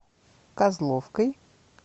козловкой